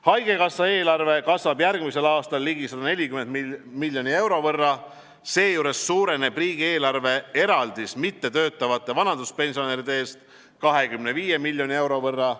Haigekassa eelarve kasvab järgmisel aastal ligi 140 miljoni euro võrra, seejuures suureneb riigieelarve eraldis mittetöötavate vanaduspensionäride eest 25 miljoni euro võrra.